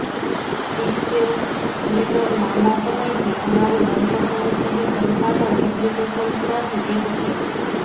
Pixelmator લાંબા સમયથી અમારી મનપસંદ છબી સંપાદન એપ્લિકેશન્સમાંથી એક છે